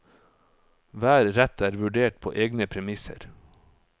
Hver rett er vurdert på egne premisser.